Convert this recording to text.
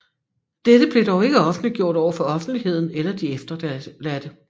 Dette blev dog ikke offentliggjort overfor offentligheden eller de efterladte